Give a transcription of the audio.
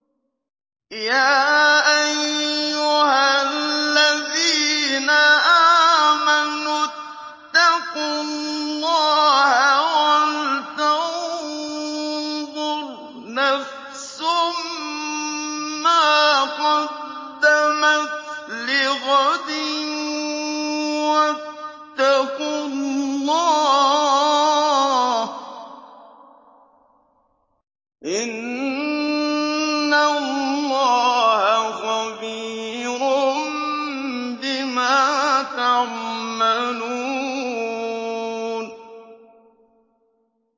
يَا أَيُّهَا الَّذِينَ آمَنُوا اتَّقُوا اللَّهَ وَلْتَنظُرْ نَفْسٌ مَّا قَدَّمَتْ لِغَدٍ ۖ وَاتَّقُوا اللَّهَ ۚ إِنَّ اللَّهَ خَبِيرٌ بِمَا تَعْمَلُونَ